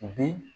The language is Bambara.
Bi